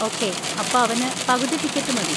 Okay, അപ്പൊ അവന് പകുതി ടിക്കറ്റ് മതി.